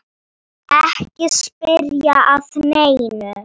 Ekki spyrja að neinu!